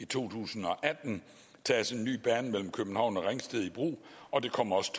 tusind og atten tages en ny bane mellem københavn og ringsted i brug og det kommer også